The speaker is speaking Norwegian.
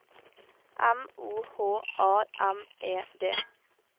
M O H A M E D